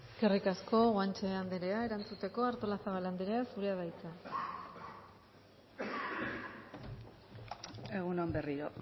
eskerrik asko guanche andrea erantzuteko artolazabal andrea zurea da hitza egun on berriro